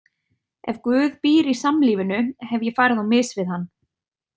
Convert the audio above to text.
Ef Guð býr í samlífinu, hef ég farið á mis við hann.